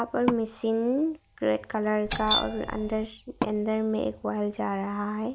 और machine red colour का और अंदर से अंदर में एक वर जा रहे है।